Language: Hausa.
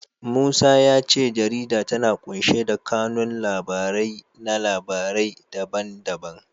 Musa ya ce jarida tana ƙunshe da kanun labarai na labarai da ban da ban.